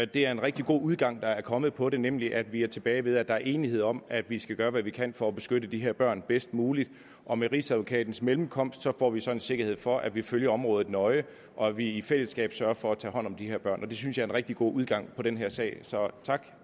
det er en rigtig god udgang der er kommet på den nemlig at vi er tilbage ved at der er enighed om at vi skal gøre hvad vi kan for at beskytte de her børn bedst muligt og med rigsadvokatens mellemkomst får vi så en sikkerhed for at vi følger området nøje og at vi i fællesskab sørger for at tage hånd om de her børn det synes jeg er en rigtig god udgang på den her sag så tak